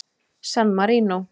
San Marínó